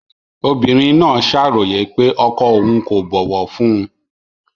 Obìnrin náà ṣàròyé pé ọkọ òun kò bọ̀wọ̀ fún un